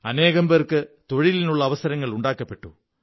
അനേകം പേര്ക്ക്ച തൊഴിലിനുള്ള അവസരങ്ങൾ സൃഷ്ടിക്കപ്പെട്ടു